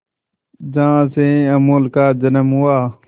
जहां से अमूल का जन्म हुआ